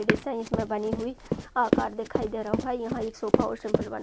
बनी हुई आकर दिखाई दे रहा है यह एक सोफे सिंपल बना --